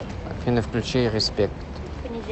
афина включи респект